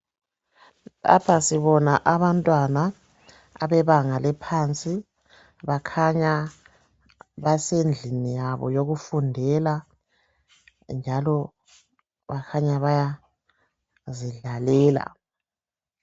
Lapha sibona abantwana abebanga eliphansi bakhanya basendlini yabo yokufundela njalo bakhanya bayazidlalela